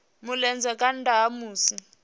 mulenzhe nga nnda ha musi